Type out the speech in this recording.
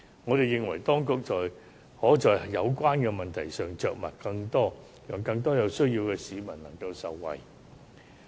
我們認為，當局可在有關的問題上着墨更多，讓更多有需要的市民能夠受惠。